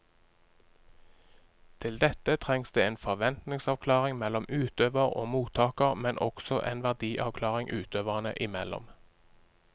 Til dette trengs det en forventningsavklaring mellom utøver og mottaker, men også en verdiavklaring utøverne imellom.